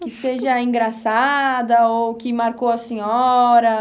Que seja engraçada ou que marcou a senhora?